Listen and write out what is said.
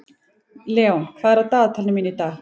Leon, hvað er á dagatalinu mínu í dag?